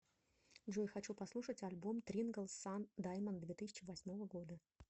джой хочу послушать альбом трингл сан даймонд две тысячи восьмого года